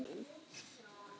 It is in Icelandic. Hvaða fjall er þetta þá?